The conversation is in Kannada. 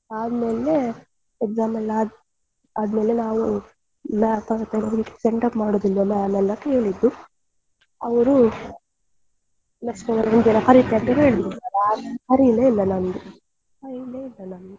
ಆಮೇಲೆ exam ಎಲ್ಲ ಆದ್ಮೇಲೆ ನಾವು send off ಎಲ್ಲಾ ಮಾಡುದಿಲ್ವ ma'am ಅಂತ ಕೇಳಿದ್ದು ಅವರು ಕರೀತೇನೆ ಅಂತ ಹೇಳಿದ್ರು ಕರೀಲೆ ಇಲ್ಲ ನಮ್ಗೆ ಕರೀಲೆ ಇಲ್ಲ ನಮ್ಗೆ ಅವ್ರು ಕರೀಲೆ ಇಲ್ಲ.